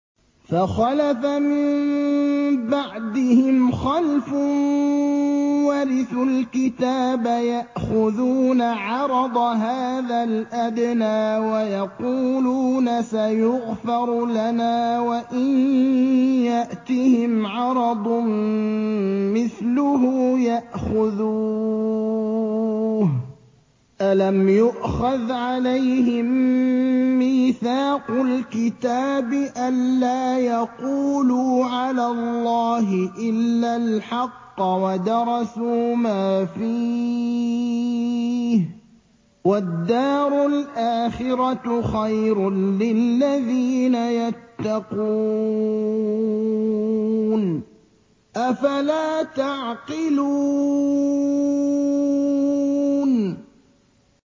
فَخَلَفَ مِن بَعْدِهِمْ خَلْفٌ وَرِثُوا الْكِتَابَ يَأْخُذُونَ عَرَضَ هَٰذَا الْأَدْنَىٰ وَيَقُولُونَ سَيُغْفَرُ لَنَا وَإِن يَأْتِهِمْ عَرَضٌ مِّثْلُهُ يَأْخُذُوهُ ۚ أَلَمْ يُؤْخَذْ عَلَيْهِم مِّيثَاقُ الْكِتَابِ أَن لَّا يَقُولُوا عَلَى اللَّهِ إِلَّا الْحَقَّ وَدَرَسُوا مَا فِيهِ ۗ وَالدَّارُ الْآخِرَةُ خَيْرٌ لِّلَّذِينَ يَتَّقُونَ ۗ أَفَلَا تَعْقِلُونَ